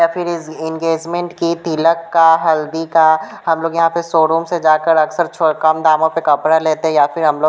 या फिर ईज़ एंगेजमेंट की तिलक का हल्दी का हम लोग यहां पे शोरूम से जाकर अक्सर छो कम दामों पे कपड़ा लेते हैं या फिर हम लोग --